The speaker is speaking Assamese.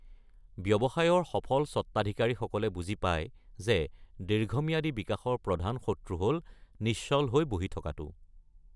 ব্যৱসায়ৰ সফল স্বতাধিকাৰীসকলে বুজি পায় যে দীৰ্ঘম্যাদী বিকাশৰ প্ৰধান শত্ৰু হ’ল নিশ্চল হৈ বহি থকাটো।